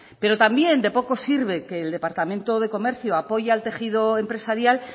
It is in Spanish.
pero también de poco sirve que el departamento de comercio apoye al tejido empresarial